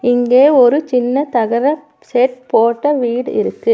இங்கே ஒரு சின்ன தகர செட் போட்ட வீடு இருக்கு.